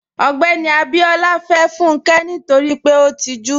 Ogbẹ́ni Abíọlá fẹ́ Fúnkẹ́ nítorí pé ó tìjú.